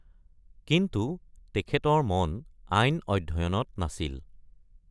কিন্তু তেখেতৰ মন আইন অধ্যয়নত নাছিল।